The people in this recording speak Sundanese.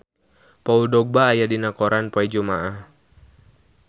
Paul Dogba aya dina koran poe Jumaah